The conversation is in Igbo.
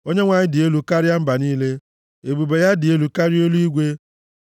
Onyenwe anyị dị elu karịa mba niile, ebube ya dị elu karịa eluigwe.